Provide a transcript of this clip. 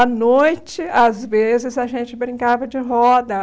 À noite, às vezes, a gente brincava de roda.